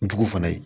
N jugu fana ye